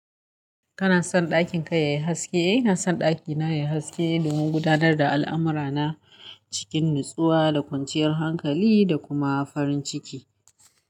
Kana son ɗakin ka yayi haske? Eh, ina son ɗakina yayi haske domin gudanar da al'amura na cikin nutsuwa da kwanciyar hankali da kuma farin ciki.